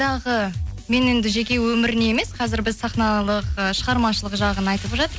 мен енді жеке өміріне емес қазір біз сахналық ы шығармашылық жағын айтып жатыр